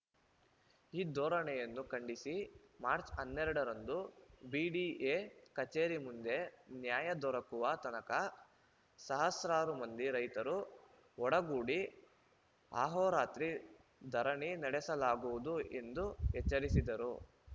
ಈ ಧೋರಣೆಯನ್ನು ಖಂಡಿಸಿ ಮಾರ್ಚ್ ಹನ್ನೆರಡ ರಂದು ಬಿಡಿಎ ಕಚೇರಿ ಮುಂದೆ ನ್ಯಾಯ ದೊರಕುವ ತನಕ ಸಹಸ್ರಾರು ಮಂದಿ ರೈತರು ಒಡಗೂಡಿ ಅಹೋರಾತ್ರಿ ಧರಣಿ ನಡೆಸಲಾಗುವುದು ಎಂದು ಎಚ್ಚರಿಸಿದರು